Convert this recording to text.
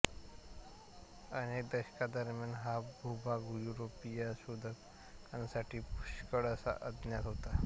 अनेक दशकांदरम्यान हा भूभाग युरोपीय शोधकांसाठी पुष्कळसा अज्ञात होता